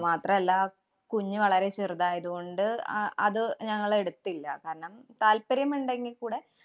അതുമാത്രമല്ല, കുഞ്ഞു വളരെ ചെറുതായത് കൊണ്ട് അ~ അത് ഞങ്ങള് എടുത്തില്ല. കാരണം, താല്പര്യമുണ്ടെങ്കി കൂടെ